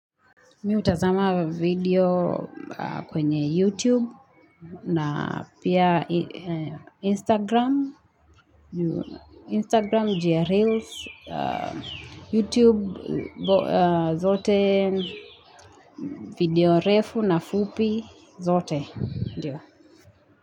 Mimi hutazama video kwenye YouTube na pia Instagram, Instagram ju ya ireels, YouTube zote, video refu na fupi zote. Ndiyo.